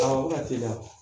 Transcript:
Awɔ a bi ka teliya.